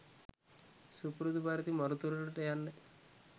සුපුරුදු පරිදි මරු තුරුලට යන්න